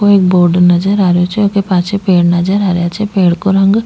ओ एक बोर्ड नजर आ रो छे ऊके पाछे एक पेड़ नजर आ रा छे पेड़ को रंग --